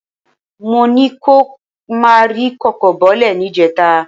Mó ní kí o má ri kòkó bọlẹ̀ níjẹta